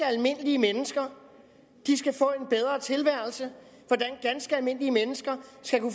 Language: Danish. almindelige mennesker skal få en bedre tilværelse hvordan ganske almindelige mennesker